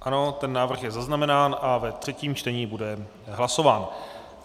Ano, ten návrh je zaznamenán a ve třetím čtení bude hlasován.